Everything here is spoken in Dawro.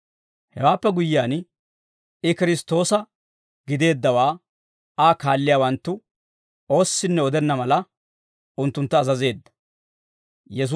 Hewaappe guyyiyaan, I Kiristtoosa gideeddawaa Aa kaalliyaawanttu oossinne odenna mala, unttuntta azazeedda.